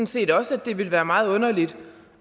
set også at det ville være meget underligt